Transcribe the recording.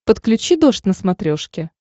подключи дождь на смотрешке